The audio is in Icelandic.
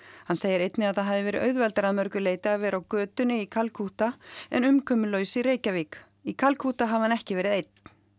hann segir einnig að það hafi verið auðveldara að mörgu leyti að vera á götunni í Kalkútta en umkomulaus í Reykjavík í Kalkútta hafi hann ekki verið einn